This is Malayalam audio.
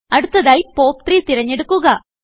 അടുത്തതായി പോപ്പ്3 തിരഞ്ഞെടുക്കുക